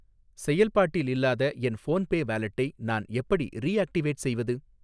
செயல்பாட்டில் இல்லாத என் ஃபோன்பே வாலெட்டை நான் எப்படி ரீஆக்டிவேட் செய்வது?